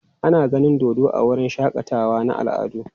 Ana ganin dodo a wurin shakatawa na al'adu.